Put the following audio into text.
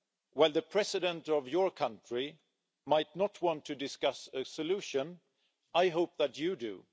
While the President of your country might not want to discuss a solution, I hope that you do.